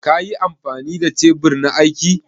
Ƙa yi amfani da tebur na aiki?